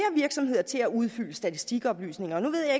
virksomheder til at udfylde statistikoplysninger nu ved